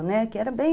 Né, que eram bem